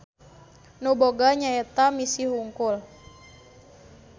Nu boga nyaeta misi hungkul.